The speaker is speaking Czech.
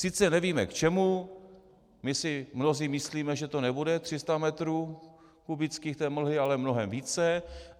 Sice nevíme k čemu, my si mnozí myslíme, že to nebude 300 metrů kubických té mlhy, ale mnohem více.